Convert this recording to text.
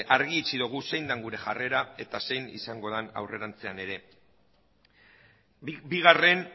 argi utzi dugu zein den gure jarrera eta zein izango den aurrerantzean ere bigarren